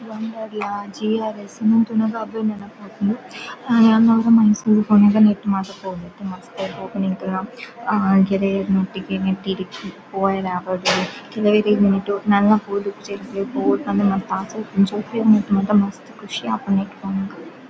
Wonder ಲಾ GRS. ಇಂದುವೆನ್ ತೂನಗ ಅವ್ವೆ ನೆನಪಾಪುಂಡು ಆ ಯಾನ್ ಒರ ಮೈಸೂರ್ ಗ್ ಪೋನಗ ನೆಟ್ಟ್ ಮಾತ ಪೋದಿತ್ತೆ ಪೋಪಿನ್ ಎಂಕಲ್ಲ ಹಾ ಮಸ್ತ್ ಖುಷಿ ಆಪುಂಡು ನೆಟ್ ಪೋನಗ--